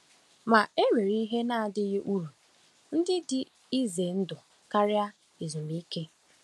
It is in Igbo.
Ma, e nwere ihe na-adịghị uru ndị dị ize ndụ karịa ezumike.